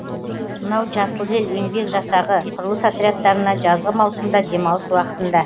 мынау жасыл ел еңбек жасағы құрылыс отрядтарына жазғы маусымда демалыс уақытында